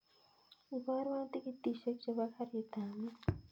Ibarwan tikitishek chebo karit ab maat